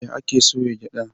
Ya ake soya gyaɗa?